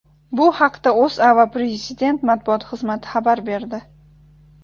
Bu haqda O‘zA va Prezident matbuot xizmati xabar berdi.